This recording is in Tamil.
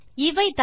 இவைதான்